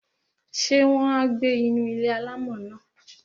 Ṣé wọn á gbé inú ilé-alámọ̀ náà?